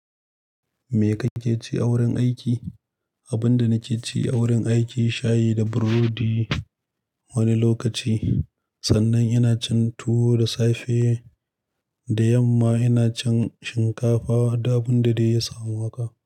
Me kake ci a wurin aiki? Abin da nake ci a wurin aiki shayi da burodi wani lokaci, sannan ina cin tuwo da safe da yamma ina cin shinkafa da abin da dai ya samu haka.